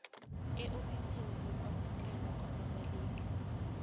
eofisini lokwamukelwa kwababaleki